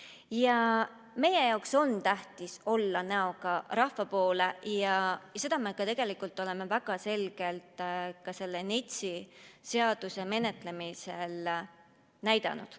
Ja meie jaoks on tähtis olla näoga rahva poole ja seda me tegelikult oleme väga selgelt selle NETS-i menetlemisel ka näidanud.